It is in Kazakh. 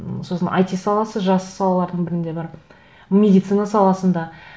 м сосын айти саласы жас салалардың бірінде бар медицина саласында